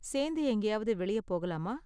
சேர்ந்து எங்கேயாவது வெளிய போகலாமா?